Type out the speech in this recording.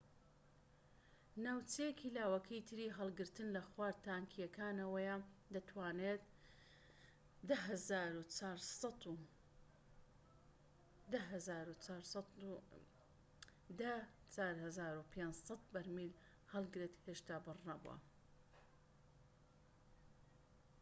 ناوچەیەکی لاوەکیی تری هەڵگرتن لە خوار تانکیەکانەوەیە دەتوانێت ١٠٤٥٠٠ بەرمیل هەڵگرێت هێشتا پڕ نەبووە